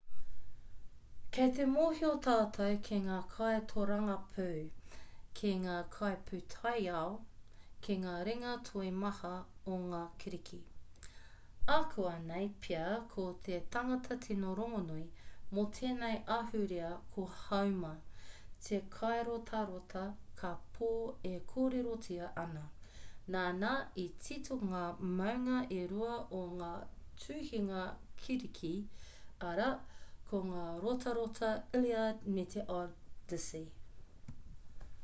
kei te mōhio tātou ki ngā kaitōrangapū ki ngā kaipūtaiao ki ngā ringa toi maha o ngā kiriki ākuanei pea ko te tangata tino rongonui mō tēnei ahurea ko homer te kairotarota kāpō e kōrerotia ana nāna i tito ngā mounga e rua o ngā tuhinga kiriki arā ko ngā rotarota lliad me te odyssey